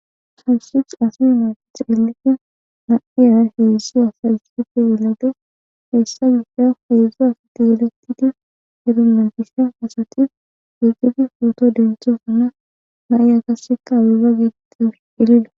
hawusish asi ma xeelike naiya heedszsi asayssife wolade heessa gissa feezza asati yeletidi herume gissa asati giigidi fuoto denchosanna na7i agasseka abega gidido elida